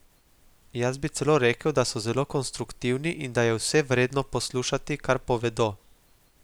Jaz bi celo rekel, da so zelo konstruktivni in da je vse vredno poslušati, kar povedo.